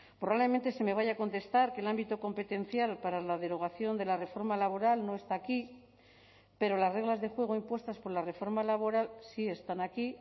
probablemente se me vaya a contestar que el ámbito competencial para la derogación de la reforma laboral no está aquí pero las reglas de juego impuestas por la reforma laboral si están aquí